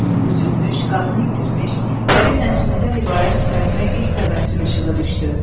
Üzülmüş, qanını itirmiş, dəri ilə sümükdən ibarət sifətimə ilk təbəssüm işığı düşdü.